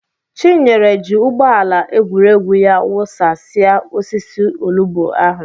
Chinyere ji ụgbọ ala egwuregwu ya wụsasịa osisi olugbu ahụ.